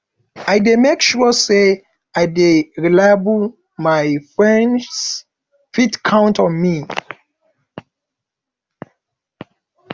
i dey make sure sey i dey reliable my friends fit count on me